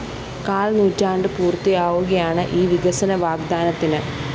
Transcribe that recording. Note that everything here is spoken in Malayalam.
കാല്‍നൂറ്റാണ്ട് പൂര്‍ത്തിയാവുകയാണ് ഈ വികസന വാഗ്ദാനത്തിന്